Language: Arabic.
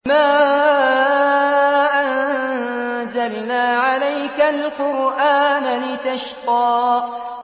مَا أَنزَلْنَا عَلَيْكَ الْقُرْآنَ لِتَشْقَىٰ